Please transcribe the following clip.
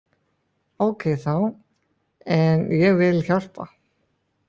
Ókei þá, en ég vil hjálpa.